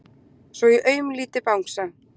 Svo ég augumlíti Bangsa.